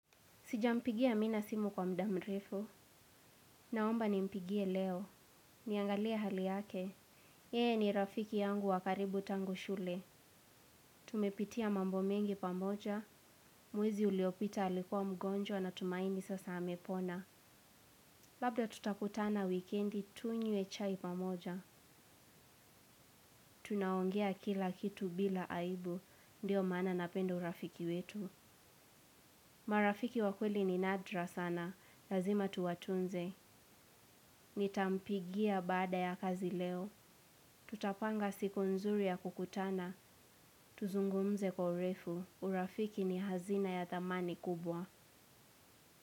Sijampigia mi na simu kwa mda mrefu. Naomba nimpigie leo. Niangalie hali yake. Yeye ni rafiki yangu wa karibu tangu shule. Tumepitia mambo mengi pamoja. Mwezi uliopita alikuwa mgonjwa natumaini sasa amepona. Labda tutakutana wikendi tunywe chai pamoja. Tunaongea kila kitu bila aibu. Ndio maana napenda urafiki wetu. Marafiki wa kweli ni nadra sana, lazima tuwatunze. Nitampigia baada ya kazi leo. Tutapanga siku nzuri ya kukutana. Tuzungumze kwa urefu, urafiki ni hazina ya thamani kubwa.